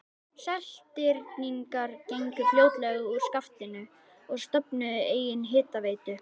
Seltirningar gengu fljótlega úr skaftinu og stofnuðu eigin hitaveitu.